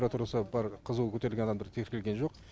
температурасы бар қызуы көтерілген адамдар тіркелген жоқ